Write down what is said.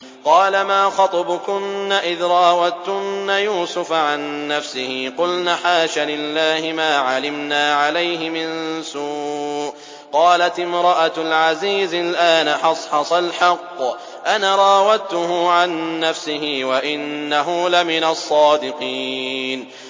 قَالَ مَا خَطْبُكُنَّ إِذْ رَاوَدتُّنَّ يُوسُفَ عَن نَّفْسِهِ ۚ قُلْنَ حَاشَ لِلَّهِ مَا عَلِمْنَا عَلَيْهِ مِن سُوءٍ ۚ قَالَتِ امْرَأَتُ الْعَزِيزِ الْآنَ حَصْحَصَ الْحَقُّ أَنَا رَاوَدتُّهُ عَن نَّفْسِهِ وَإِنَّهُ لَمِنَ الصَّادِقِينَ